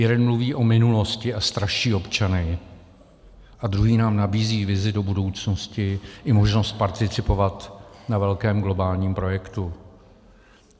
Jeden mluví o minulosti a straší občany a druhý nám nabízí vizi do budoucnosti i možnost participovat na velkém globálním projektu.